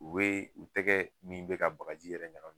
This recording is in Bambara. U be u tɛgɛ min be ka bakaji yɛrɛ ɲakami.